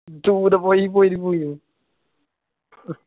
tour പോയി പോയിട്ട് പോയിന്